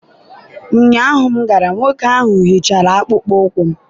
ụnyaahụ m gwara nwoke ahụ, hichaa akpụkpọ ụkwụ m!